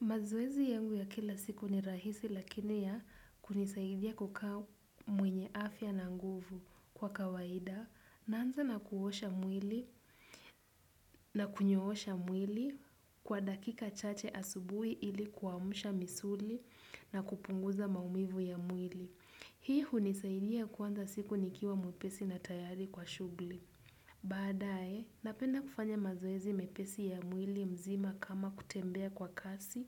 Mazoezi yangu ya kila siku ni rahisi lakini ya kunisaidia kukaa mwenye afya na nguvu kwa kawaida naanza na kuosha mwili na kunyoosha mwili kwa dakika chache asubuhi ili kuamusha misuli na kupunguza maumivu ya mwili. Hii hunisaidia kuanza siku nikiwa mwepesi na tayari kwa shughuli. Baadaye, napenda kufanya mazoezi mepesi ya mwili mzima kama kutembea kwa kasi,